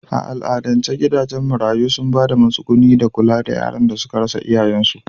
A al'adance gidajen marayu sun ba da matsuguni da kula da yaran da suka rasa iyayensu.